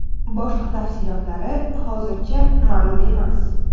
Boshqa tafsilotlari hozircha ma’lum emas.